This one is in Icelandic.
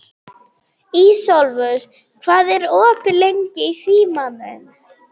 Ísólfur, hvað er opið lengi í Símanum?